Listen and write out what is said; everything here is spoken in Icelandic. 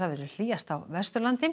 hlýjast á Vesturlandi